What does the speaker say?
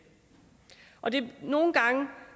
nogle gange